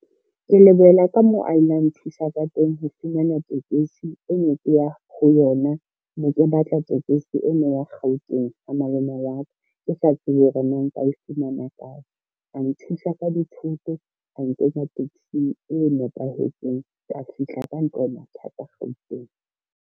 Ke lebohela ka moo a ila a nthusa ka teng ho fumana tekesi e ne ke ya ho yona, ne ke batla tekesi e meng ya Gauteng ha malome wa ka, ke sa tsebe hore na nka e fumana kae. A nthusa ka dithoto, a nkenya taxi-ng e nepahetseng ka fihla ka ntle ho mathata Gauteng.